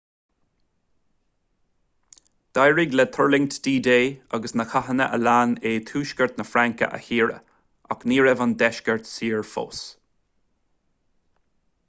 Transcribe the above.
d'éirigh le tuirlingtí d-day agus na cathanna a lean é tuaisceart na fraince a shaoradh ach ní raibh an deisceart saor fós